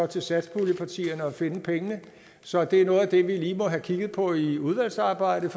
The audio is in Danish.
til satspuljepartierne at finde pengene så det er noget af det vi lige må have kigget på i udvalgsarbejdet